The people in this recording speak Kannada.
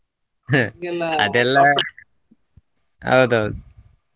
ಅದೆಲ್ಲಾ ಹೌದೌದು.